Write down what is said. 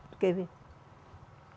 Tu quer ver?